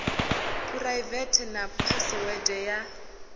phuraivethe na phasiwede ya u